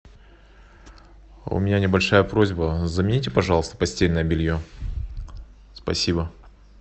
у меня небольшая просьба замените пожалуйста постельное белье спасибо